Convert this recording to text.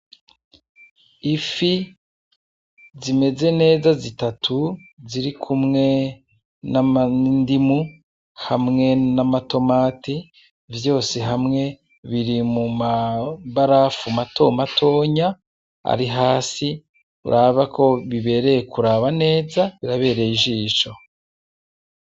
Ifi zimeze neza zitatu zirikumwe n'indimu , hamwe n'amatomati vyose hamwe biri mu mabarafu mato matonya ari hasi uraba ko bibereye kuraba neza , birabereye ijisho.